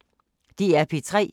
DR P3